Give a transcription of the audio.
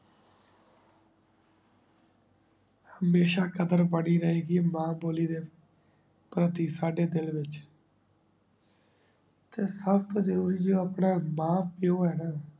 ਹਮੇਸ਼ਾ ਕਾਦਰ ਬਾਰੀ ਰੇ ਗੀ ਮਨ ਬੋਲੀ ਰੇ ਸਾਡੀ ਦਿਲ ਵਿਚ ਤੇ ਸਬ ਜ਼ਰੋਰੀ ਜੇ ਆਪਣਾ ਮਾਂ ਪੀਏਓ ਹੀ ਗਾ